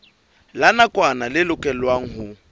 la nakwana le lokelwang ho